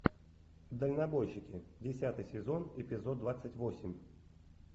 дальнобойщики десятый сезон эпизод двадцать восемь